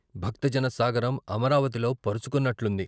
భక్తజన సాగరం అమరావతిలో పరుచుకున్నట్లుంది.